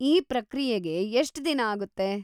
ಈ ಪ್ರಕ್ರಿಯೆಗೆ ಎಷ್ಟ್ ದಿನ ಆಗುತ್ತೆ?